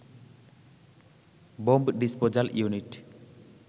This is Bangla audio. bomb disposal unit